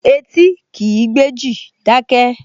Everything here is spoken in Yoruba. Etí kìí gbéjì, dákẹ́!